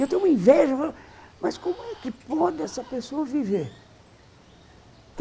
Eu tenho uma inveja, mas como é que pode essa pessoa viver?